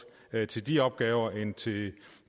bedre til de opgaver end til